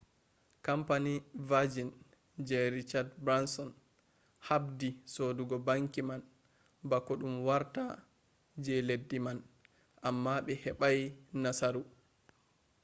kampani vajin je richad branson habdi sodugo banki man bako ɗum wartta je leddi man amma ɓe heɓai nasaru